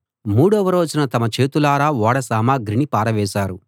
మూడవ రోజున తమ చేతులారా ఓడ సామగ్రిని పారవేశారు